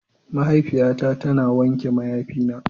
Mahaifiyata tana wanke mayafina.